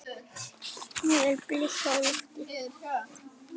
Nú eru blikur á lofti.